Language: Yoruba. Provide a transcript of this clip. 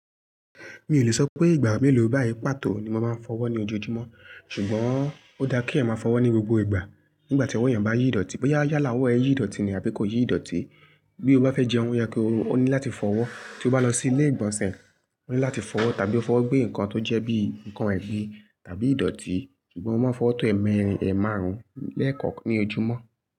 Mi ò lè sọ pé ìgbà mélòó báyìí pàtó ni mo máa ń fọwọ́ ní ojoojúmọ́, ṣùgbọ́n ó dá kí ẹ máa fọwọ́ ní gbogbo ìgbà. Nígbà tí ọwọ́ èèyàn bá yí dọ̀tí, bóyá yálà ọwọ́ ẹ yí ìdọ̀tí ni àbí kò yí ìdọ̀tí, bí o bá fẹ́ jẹ ohun yẹ kó, ó ní láti fọwọ́. Tí o bá lọ sí ilé ìgbọ̀nsẹ̀, ó ní láti fọwọ́ tàbí ó fọwọ́ gbé nǹkan tó jẹ́ bí nǹkan ẹbí tàbí ìdọ̀tí, ṣùgbọ́n mo máa ń fọwọ́ tó ẹ̀ẹ́mẹ́rin, ẹ̀ẹ́ márùn-ún lẹ́ẹ̀kọ́kọ́ ní ojúmọ́.